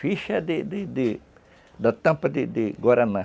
Ficha de de de... da tampa de Guaraná.